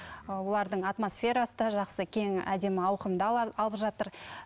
ы олардың атмосферасы да жақсы кең әдемі ауқымды алып жатыр